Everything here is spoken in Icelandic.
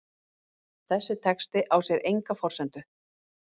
Þessi texti á sér enga forsendu.